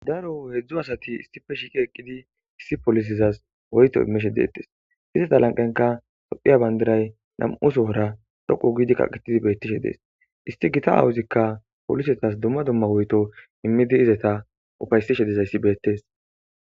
daro heedzdzu asati istife shiqi eqqidi issi polisizas woyto immishe detes izeta lanqenka sophiya bandiray nam7uso hora dhoqu giidi qaqetidi beettishe dees isti gita awuzikka polisetas dumma dumma woyto immidi izeta ufaysi shedezayssi beettees